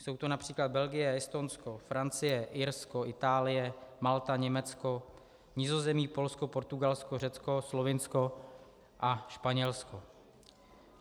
Jsou to například Belgie, Estonsko, Francie, Irsko, Itálie, Malta, Německo, Nizozemí, Polsko, Portugalsko, Řecko, Slovinsko a Španělsko.